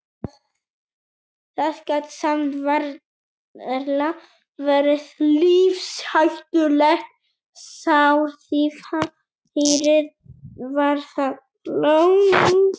Það gat samt varla verið lífshættulegt sár því færið var það langt.